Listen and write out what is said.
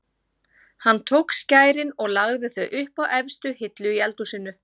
Hann tók skærin og lagði þau upp á efstu hillu í eldhúsinu.